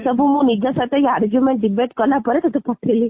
ଏତେ ସବୁ ମୁଁ ନିଜ ସହ argument debate କଲା ପରେ ତତେ ପଠେଇଲି